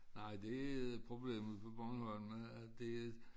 Nej det er et problemet på Bornholm at det er